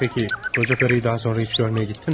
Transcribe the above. Yaxşı, qoca qadını daha sonra heç görməyə getdinmi?